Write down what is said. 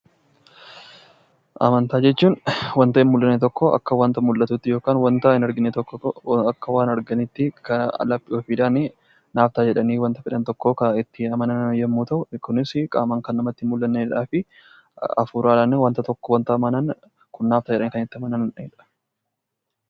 Amantaa jechuun wanta hin mul'anne tokko akka wanta mul'atutti yookiin waan hin argine tokko akka waan arganiitti kan laphee ofiidhaan naaf ta'a jedhanii kan itti amanan yoo ta'u, kunis qaamaan kana namatti hin mul'annee fi hafuuraan naa ta'a jedhanii kan itti amananidha.